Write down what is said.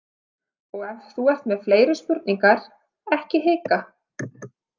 Og ef þú ert með fleiri spurningar, ekki hika.